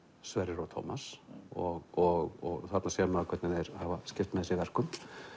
Sverrir og Tómas og og þarna sér maður hvernig þeir hafa skipt með sér verkum